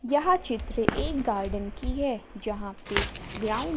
यह चित्र एक गार्डन की है जहां पे ग्राउंड।